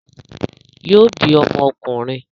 Yóò bí ọmọ ọkùnrin